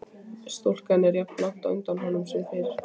Stúlkan er jafnlangt á undan honum sem fyrr.